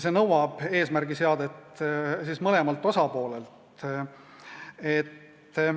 See nõuab eesmärgiseadet mõlemalt osapoolelt.